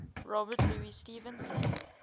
robert louis stevenson